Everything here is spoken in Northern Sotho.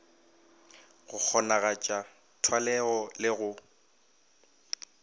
go kgonagatša thwalego le go